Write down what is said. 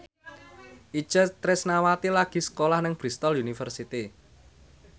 Itje Tresnawati lagi sekolah nang Bristol university